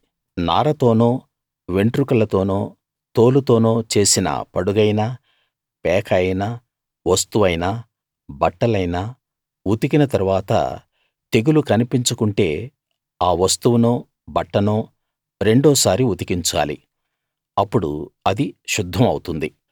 నారతోనో వెంట్రుకలతోనో తోలుతోనో చేసిన పడుగైనా పేక అయినా వస్తువైనా బట్టలైనా ఉతికిన తరువాత తెగులు కన్పించకుంటే ఆ వస్తువునో బట్టనో రెండోసారి ఉతికించాలి అప్పుడు అది శుద్ధం అవుతుంది